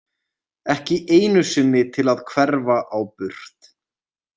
Ekki einu sinni til að hverfa á burt.